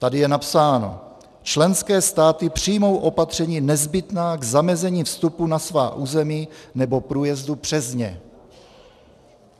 Tady je napsáno: "Členské státy přijmou opatření nezbytná k zamezení vstupu na svá území nebo průjezdu přes ně."